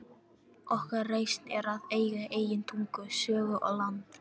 Okkar reisn er að eiga eigin tungu, sögu og land.